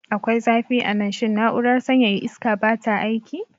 Akwai zafi a nan. Shin na'urar sanyaya iska ba ta aiki?